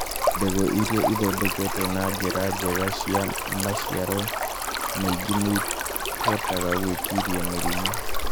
Mbegũ iria ithondeketwo na njĩra njega ciĩna maciaro maingĩ na nĩ cihotaga gwĩtiria mĩrimũ.